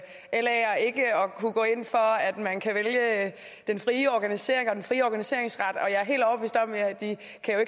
kunne gå ind for at man kan vælge den frie organisering og den frie organiseringsret jeg